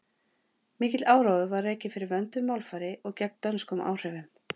mikill áróður var rekinn fyrir vönduðu málfari og gegn dönskum áhrifum